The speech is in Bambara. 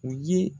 U ye